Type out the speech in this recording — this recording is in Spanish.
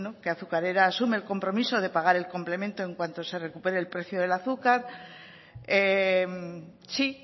que azucarera asume el compromiso de pagar el complemente en cuanto se recupere el precio del azúcar sí